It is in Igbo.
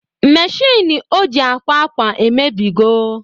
Meshịn o ji akwa akwa emebigo